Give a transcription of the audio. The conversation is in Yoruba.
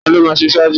Ta ló máa ṣe ṣáájú?